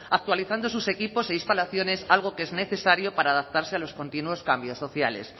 actualizando sus equipos e instalaciones algo que es necesario para adaptarse a los continuos cambios sociales